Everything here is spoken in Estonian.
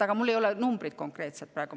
Aga mul ei ole konkreetseid numbreid praegu.